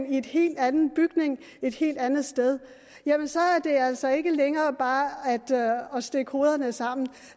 i en helt anden bygning et helt andet sted jamen så er det altså ikke længere bare at stikke hovederne sammen